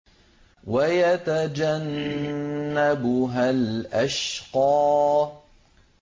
وَيَتَجَنَّبُهَا الْأَشْقَى